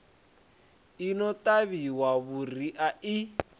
i no ṱavhiwa vhuriha i